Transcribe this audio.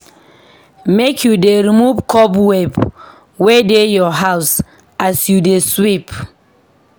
Make you dey remove cobweb wey dey your house as you dey sweep